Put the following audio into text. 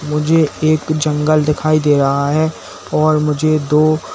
मुझे एक जंगल दिखाई दे रहा है और मुझे दो--